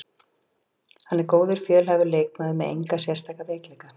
Hann er góður, fjölhæfur leikmaður með enga sérstaka veikleika.